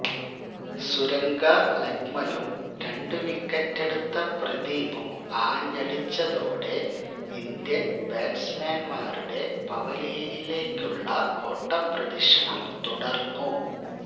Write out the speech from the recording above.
സുരംഗ ലക്മലും രണ്ടു വിക്കറ്റെടുത്ത പ്രദീപും ആഞ്ഞടിച്ചതോടെ ഇന്ത്യൻ ബാറ്റ്സ്മാൻമാരുടെ പവിലിയനിലേക്കുള്ള ഓട്ടപ്രദക്ഷിണം തുടർന്നു